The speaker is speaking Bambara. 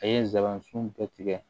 A ye nsaban sun bɛɛ tigɛ